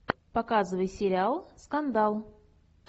показывай сериал скандал